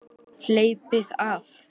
Hleypið af!